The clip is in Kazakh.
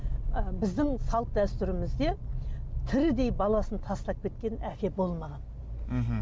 і біздің салт дәстүрімізде тірідей баласын тастап кеткен әке болмаған мхм